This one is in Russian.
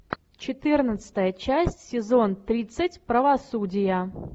четырнадцатая часть сезон тридцать правосудие